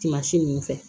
Tuma si ninnu fɛ